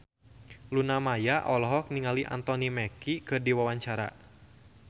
Luna Maya olohok ningali Anthony Mackie keur diwawancara